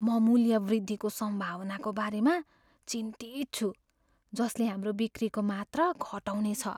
म मूल्य वृद्धिको सम्भावनाको बारेमा चिन्तित छु जसले हाम्रो बिक्रीको मात्रा घटाउनेछ।